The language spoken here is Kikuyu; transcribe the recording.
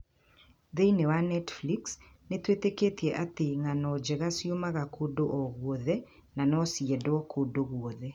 Thĩĩni wa Netflix, nĩ tũĩtĩkĩtie atĩ ng'ano njega ciumaga kũndũ o guothe na no ciendwo kũndũ guothe.